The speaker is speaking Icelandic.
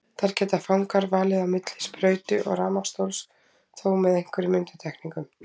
Þar geta fangar valið á milli sprautu og rafmagnsstóls, þó með einhverjum undantekningum.